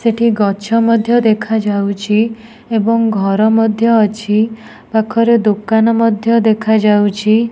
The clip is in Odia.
ସେଠି ଗଛ ମଧ୍ୟ ଦେଖାଯାଉଛି। ଏବଂ ଘର ମଧ୍ୟ ଅଛି। ପାଖରେ ଦୋକାନ ମଧ୍ୟ ଦେଖାଯାଉଛି।